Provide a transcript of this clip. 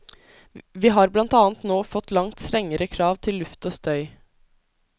Vi har blant annet nå fått langt strengere krav til luft og støy.